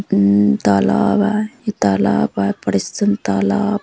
ये तालाब आय ये तालाब आय बड़े असन तालाब।